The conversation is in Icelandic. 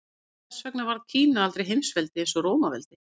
Hvers vegna varð Kína aldrei heimsveldi eins og Rómaveldi?